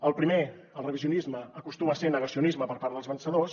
el primer el revisionisme acostuma a ser negacionisme per part dels vencedors